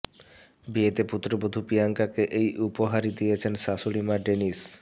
বিয়েতে পুত্রবধূ প্রিয়াঙ্কাকে এই উপহারই দিয়েছেন শাশুড়ি মা ডেনিস